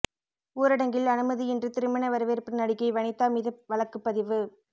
ஊரடங்கில் அனுமதியின்றி திருமண வரவேற்பு நடிகை வனிதா மீது வழக்குப் பதிவு